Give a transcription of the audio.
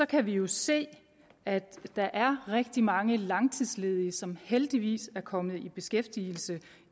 kan vi jo se at der er rigtig mange langtidsledige som heldigvis er kommet i beskæftigelse